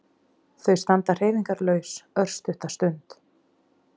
Þau standa hreyfingarlaus örstutta stund.